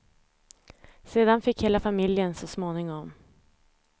Sedan fick hela familjen, så småningom.